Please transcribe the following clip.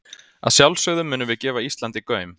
Að sjálfsögðu munum við gefa Íslandi gaum.